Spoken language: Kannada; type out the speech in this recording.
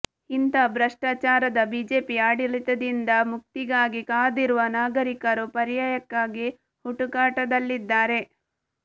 ಇಂತಹ ಭ್ರಷ್ಟಾಚಾರದ ಬಿಜೆಪಿ ಆಡಳಿತದಿಂದ ಮುಕ್ತಿಗಾಗಿ ಕಾದಿರುವ ನಾಗರೀಕರು ಪರ್ಯಾಯಕ್ಕಾಗಿ ಹುಡುಕಾಟದಲ್ಲಿದ್ದಾರೆ